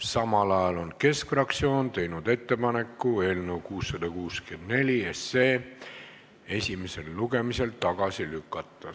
Samal ajal on Keskerakonna fraktsioon teinud ettepaneku eelnõu 664 esimesel lugemisel tagasi lükata.